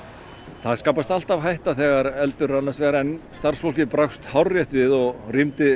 það skapast alltaf hætta þegar eldur er annars vegar en starfsfólkið brást hárrétt við og rýmdi